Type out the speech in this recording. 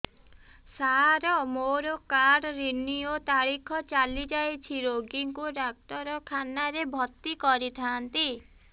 ସାର ମୋର card renew ତାରିଖ ଚାଲି ଯାଇଛି ରୋଗୀକୁ ଡାକ୍ତରଖାନା ରେ ଭର୍ତି କରିଥାନ୍ତି